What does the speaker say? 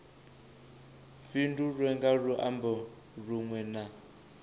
fhindulwe nga luambo lunwe na